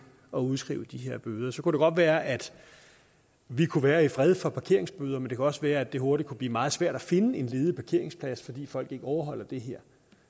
at udskrive de her bøder så kunne det godt være at vi kunne være i fred for parkeringsbøder men det kunne også være at det hurtigt kunne blive meget svært at finde en ledig parkeringsplads fordi folk ikke overholder det her